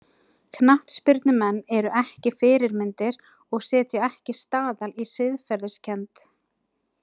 Knattspyrnumenn eru ekki fyrirmyndir og setja ekki staðal í siðferðiskennd.